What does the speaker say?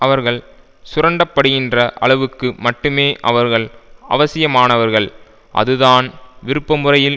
அவர்கள் சுரண்டப்படுகின்ற அளவுக்கு மட்டுமே அவர்கள் அவசியமானவர்கள் அதுதான் விருப்பமுறையில்